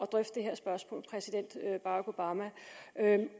drøfte det her spørgsmål præsident barack obama